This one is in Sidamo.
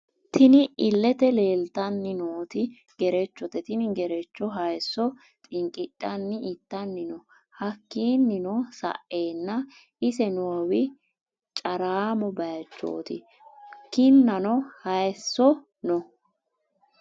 Tinni illete leelitanni nooti gerechote Tini gerecho hayisso xinqidhani ittani no hakiino sa'eena ise noowi caraamo bayiichoti kinanno hayisso no.